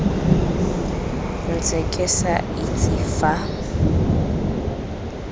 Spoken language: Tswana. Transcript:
ntse ke sa itse fa